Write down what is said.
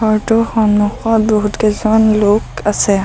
ঘৰটোৰ সন্মুখত বহুতকেইজন লোক আছে।